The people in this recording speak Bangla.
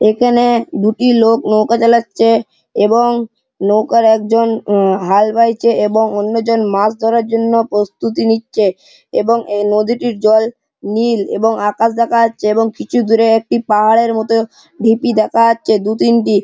এখানে দুটি লোক নৌকা চালাচ্ছে এবং নৌকার একজন উম হাল বাইছে এবং অন্যজন মাছ ধরার জন্য প্রস্তুতি নিচ্ছে এবং এই নদীটির জল নীল এবং আকাশ দেখা যাচ্ছে এবং কিছু দূরে একটি পাহাড়ের মত ঢিপি দেখা যাচ্ছে দু তিনটি--